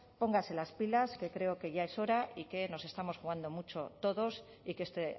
póngase las pilas que creo que ya es hora y que nos estamos jugando mucho todos y que este